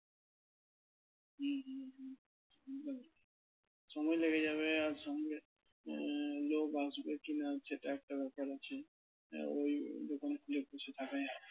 সময় লেগে যাবে আর সঙ্গে আহ লোক আসবে কিনা সেটাও একটা ব্যাপার আছে আহ ওই দোকান খুলে বসে